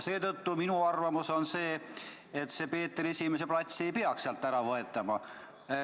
Seetõttu on minu arvamus see, et Peeter I platsi nime ei peaks sealt ära võetama.